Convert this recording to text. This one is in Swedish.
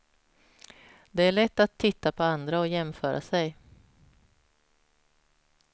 Det är lätt att titta på andra och jämföra sig.